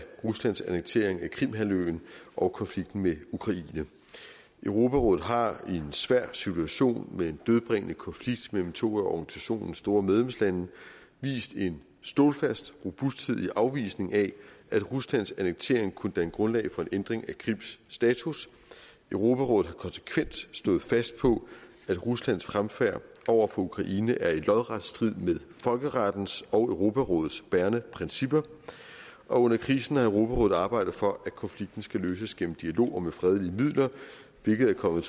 ruslands annektering af krimhalvøen og konflikten med ukraine europarådet har i en svær situation med en dødbringende konflikt mellem to af organisationens store medlemslande vist en stålfast robusthed i afvisningen af at ruslands annektering kunne danne grundlag for en ændring af krims status europarådet har konsekvent stået fast på at ruslands fremfærd over for ukraine er i lodret strid med folkerettens og europarådets bærende principper og under krisen har europarådet arbejdet for at konflikten skal løses gennem dialog og med fredelige midler hvilket er kommet